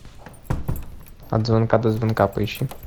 от звонка до звонка поищи